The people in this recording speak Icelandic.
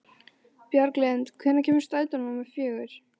Bjarglind, hvenær kemur strætó númer fjögur?